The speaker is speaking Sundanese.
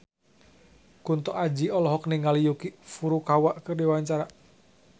Kunto Aji olohok ningali Yuki Furukawa keur diwawancara